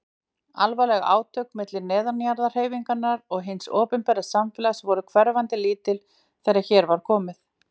Alvarleg átök milli neðanjarðarhreyfingarinnar og hins opinbera samfélags voru hverfandi lítil þegar hér var komið.